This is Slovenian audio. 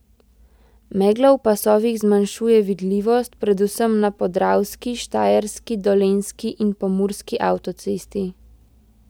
Megla v pasovih zmanjšuje vidljivost predvsem na podravski, štajerski, dolenjski in pomurski avtocesti.